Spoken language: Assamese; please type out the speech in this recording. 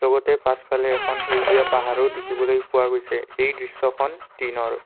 লগতে পাছফালে এখন সেউজীয়া পাহাৰো দেখিবলৈ পোৱা গৈছে এই দৃশ্যখন দিনৰ।